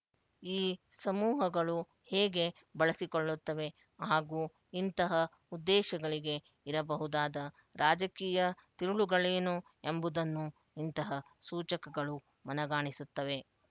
ಈ ಸಮೂಹಗಳು ಹೇಗೆ ಬಳಸಿಕೊಳ್ಳುತ್ತವೆ ಹಾಗೂ ಇಂತಹ ಉದ್ದೇಶಗಳಿಗೆ ಇರಬಹುದಾದ ರಾಜಕೀಯ ತಿರುಳುಗಳೇನು ಎಂಬುದನ್ನೂ ಇಂತಹ ಸೂಚಕಗಳು ಮನಗಾಣಿಸುತ್ತವೆ